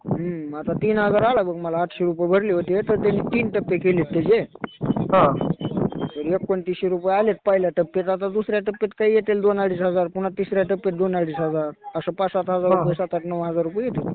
हम्म. आता तीन हजार आला बघ मला आठशे रुपये भरले होते. पण त्यांनी तीन टप्पे केले त्याचे. एकोणतीसशे रुपये आले पहिल्या टप्प्यात. आता दुसऱ्या टप्प्यात येतील काही दोन-अडीच हजार. पुन्हा तिसऱ्या टप्प्यात दोन-अडीच हजार. असं पाच-सात हजार रुपये, नऊ-आठ हजार रुपये येते.